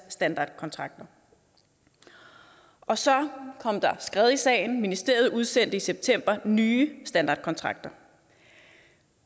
standardkontrakter og så kom der skred i sagen ministeriet udsendte i september nye standardkontrakter